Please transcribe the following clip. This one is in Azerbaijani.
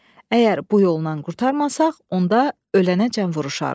Əgər bu yolla qurtarmasaq, onda ölənəcən vuruşarıq.